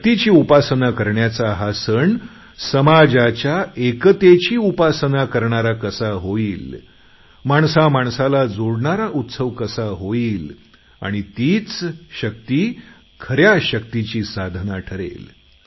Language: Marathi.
शक्तीची उपासना करण्याचा हा सण समाजाच्या एकतेची उपासना करणारा कसा होईल माणसामाणसाला जोडणारा उत्सव कसा होईल आणि तीच शक्ती खऱ्या शक्तीची साधना ठरेल